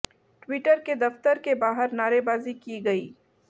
Twitter के दफ्तर के बाहर नारेबाजी की गई